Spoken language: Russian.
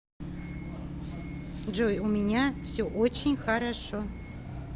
джой у меня все очень хорошо